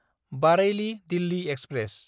बारेइलि–दिल्ली express